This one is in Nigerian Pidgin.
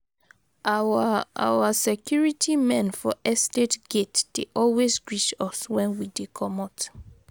Our Our security men for estate gate dey always greet us wen we dey comot.